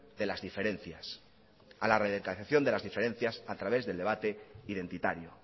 de las diferencias a través del debate identitario